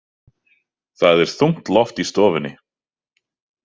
Það er þungt loft í stofunni.